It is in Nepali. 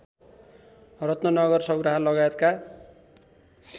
रत्ननगर सौराहा लगायतका